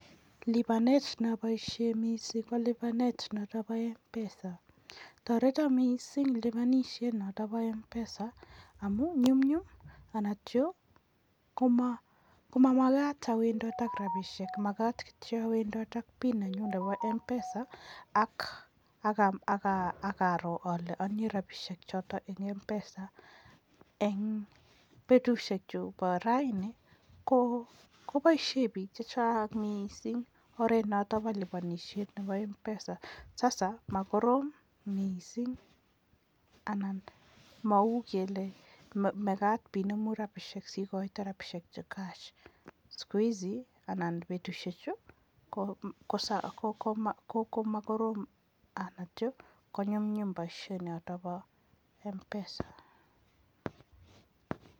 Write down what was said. Libanet naboishe mising ko nebo libanet notak bo mpesa. Toreto mising libanishet notok bo mpesa amun myumnyum anantyo ko mamakat awendot ak robishek. Makat kitio awendot ak pin nenyu nebo mpesa ak aro ale atinye rabishek chotok eng mpesa. Eng petushek chu bo raini ko boishe bik chechang mising oret notok kolibanishe nebo mpesa. sasa makorom anan mau kele makat binemu rabishek sikoite rabishek che cash. sikuizi anan betushechu komakorom ako konyunyum nebo mpesa.